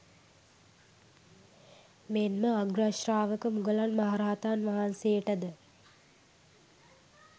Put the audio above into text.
මෙන් ම අග්‍රශ්‍රාවක මුගලන් මහරහතන් වහන්සේට ද